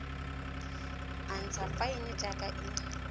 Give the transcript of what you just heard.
a ntsha faene jaaka e